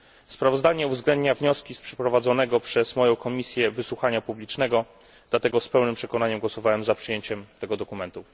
Sprawozdanie uwzględnia wnioski z przeprowadzonego przez moją komisję wysłuchania publicznego, dlatego z pełnym przekonaniem głosowałem za przyjęciem tego dokumentu.